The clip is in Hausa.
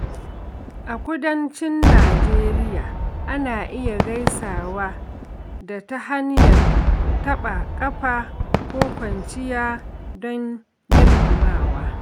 A Kudancin Najeriya, ana iya gaisawa da ta hanyar taɓa ƙafa ko kwaciya don girmamawa.